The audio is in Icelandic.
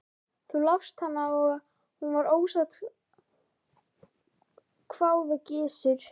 Þú lást hana og hún var ósátt, hváði Gizur.